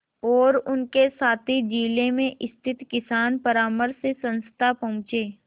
और उनके साथी जिले में स्थित किसान परामर्श संस्था पहुँचे